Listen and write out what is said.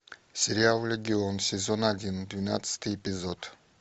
сериал легион сезон один двенадцатый эпизод